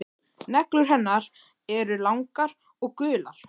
Neglur hennar eru langar og gular.